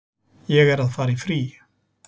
Ég er að fara í frí.